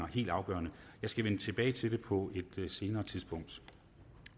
helt afgørende jeg skal vende tilbage til det på et senere tidspunkt